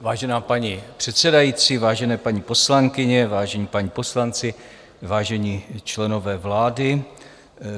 Vážená paní předsedající, vážené paní poslankyně, vážení páni poslanci, vážení členové vlády.